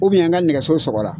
n ka nɛgɛso sɔrɔra